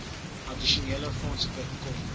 addisionele fondse bekom